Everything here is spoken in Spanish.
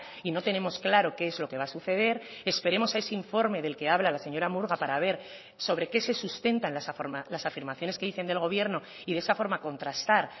y no tenemos claro qué es lo que va a suceder esperemos a ese informe del que habla la señora murga para ver sobre qué se sustentan las afirmaciones que dicen del gobierno y de esa forma contrastar